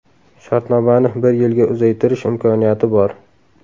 Shartnomani bir yilga uzaytirish imkoniyati bor.